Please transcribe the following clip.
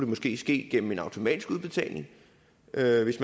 måske ske gennem en automatisk udbetaling således